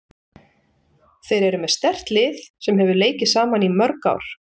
Þeir eru með sterkt lið sem hefur leikið saman í mörg ár.